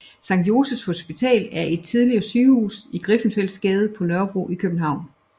Sankt Josephs Hospital er et tidligere sygehus i Griffenfeldsgade på Nørrebro i København